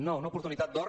no una oportunitat d’or